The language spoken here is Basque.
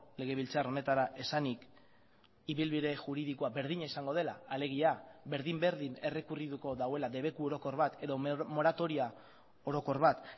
legebiltzar honetara esanik ibilbide juridikoa berdina izango dela alegia berdin berdin errekurrituko duela debeku orokor bat edo moratoria orokor bat